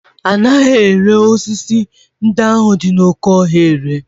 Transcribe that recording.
Anaghị ere sisi ndị ahụ dị n'oké ọhịa anaghị ere